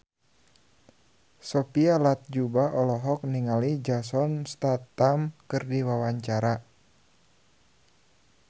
Sophia Latjuba olohok ningali Jason Statham keur diwawancara